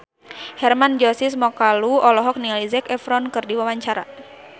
Hermann Josis Mokalu olohok ningali Zac Efron keur diwawancara